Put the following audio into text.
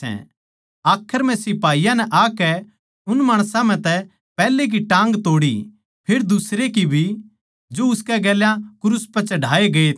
आखर म्ह सिपाहियाँ नै आकै उन माणसां म्ह तै पैहलै की टाँग तोड़ी फेर दुसरे की भी जो उसकै गेल्या क्रूस पै चढ़ाए गए थे